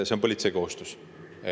See on politsei kohustus.